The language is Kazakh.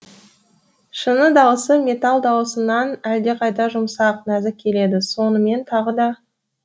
шыны дауысы металл дауысынан әлдеқайда жұмсақ нәзік келеді сонымен тағы да